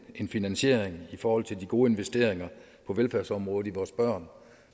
en finansiering i forhold til de gode investeringer på velfærdsområdet til vores børn